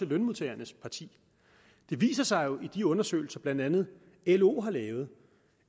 lønmodtagernes parti det viser sig jo i de undersøgelser blandt andet lo har lavet